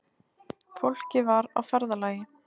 Fólkið var á ferðalagi